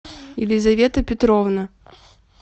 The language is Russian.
елизавета петровна